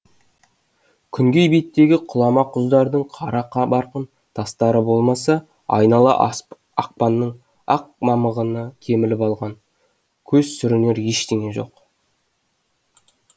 күнгей беттегі құлама құздардың қара барқын тастары болмаса айнала ақпанның ақ мамығына көміліп алған көз сүрінер ештеңе жоқ